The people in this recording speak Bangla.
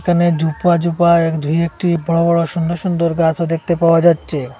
এখানে জুপা জুপা দুএকটি বড়ো বড়ো সুন্দর সুন্দর গাছও দেখতে পাওয়া যাচ্ছে।